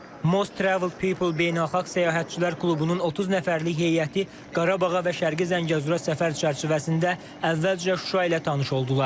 Most travel people Beynəlxalq Səyyahlar Klubunun 30 nəfərlik heyəti Qarabağa və Şərqi Zəngəzura səfər çərçivəsində əvvəlcə Şuşa ilə tanış oldular.